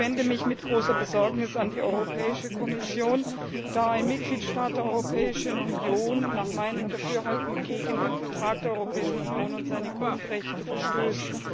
Ich wende mich mit großer Besorgnis an die Europäische Kommission, da ein Mitgliedstaat der Europäischen Union nach meinem Dafürhalten gegen den Vertrag der Europäischen Union und seine Grundrechte verstößt.